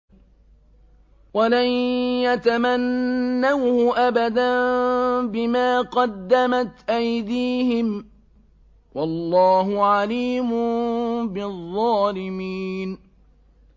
وَلَن يَتَمَنَّوْهُ أَبَدًا بِمَا قَدَّمَتْ أَيْدِيهِمْ ۗ وَاللَّهُ عَلِيمٌ بِالظَّالِمِينَ